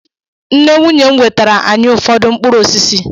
Nne nwunye m wetara anyị ụfọdụ mkpụrụ osisi